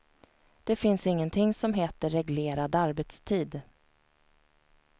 Det finns ingenting som heter reglerad arbetstid.